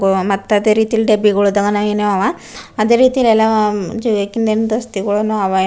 ಓಹ್ ಮತ್ತ್ ಅದ ರೀತಿ ಇಲ್ಲಿ ಡಬ್ಬಿಗೋಳ ಅದಾವ ಅದೆ ರೀತಿ ಇಲ್ಲಿ ಎಲ್ಲಾ .